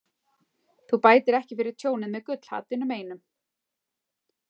Þú bætir ekki fyrir tjónið með gullhaddinum einum.